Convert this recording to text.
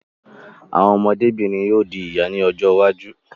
Àwọn ọmọdé-bìnrin yóò di ìyá ní ọjọ́ iwájú.